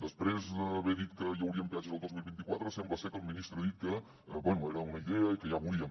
després d’haver dit que hi haurien peatges al dos mil vint quatre sembla ser que el ministre ha dit que bé era una idea i que ja veuríem